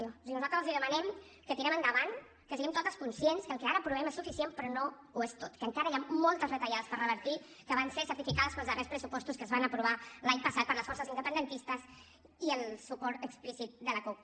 és a dir nosaltres els demanem que tirem endavant que siguem totes conscients que el que ara aprovem és suficient però no ho és tot que encara hi ha moltes retallades per revertir que van ser certificades pels darrers pressupostos que es van aprovar l’any passat per les forces independentistes i el suport explícit de la cup